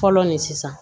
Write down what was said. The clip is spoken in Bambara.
Fɔlɔ nin sisan